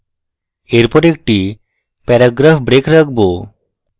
এরপর একটি paragraph break রাখবো